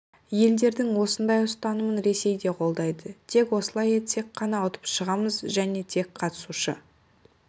елдердің осындай ұстанымын ресей де қолдайды тек осылай етсек қана ұтып шығамыз және тек қатысушы